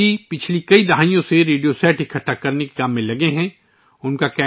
رام سنگھ جی پچھلی کئی دہائیوں سے ریڈیو سیٹ جمع کرنے کے کام میں مصروف ہیں